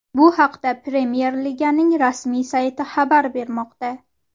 Bu haqda Premyer Liganing rasmiy sayti xabar bermoqda .